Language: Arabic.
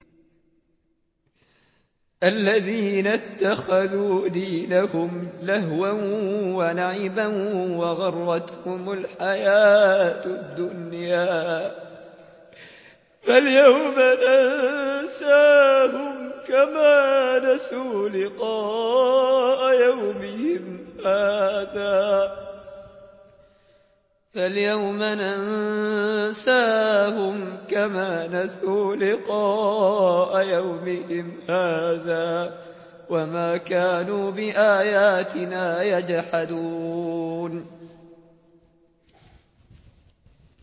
الَّذِينَ اتَّخَذُوا دِينَهُمْ لَهْوًا وَلَعِبًا وَغَرَّتْهُمُ الْحَيَاةُ الدُّنْيَا ۚ فَالْيَوْمَ نَنسَاهُمْ كَمَا نَسُوا لِقَاءَ يَوْمِهِمْ هَٰذَا وَمَا كَانُوا بِآيَاتِنَا يَجْحَدُونَ